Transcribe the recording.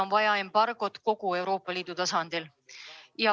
On vaja embargot kogu Euroopa Liidu tasandil.